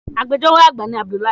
Agbẹjọ́rò àgbà ni Abdul